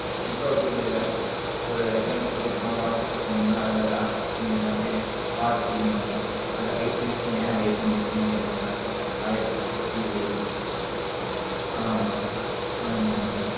இப்போ அப்பிடி இல்லைல ஒரு example சொல்ல போன whatsapp போனோனம் அதுல last seen எல்லாமே பாத்துட்டு இதுனுவங்க அதா hide பண்ணி வச்ச ஏன் hide பண்ணிங்கன்னு கேப்பாங்க. ஆயரதி எட்டு கேள்விகள் வரும். ஹம் ஆமா ஆமா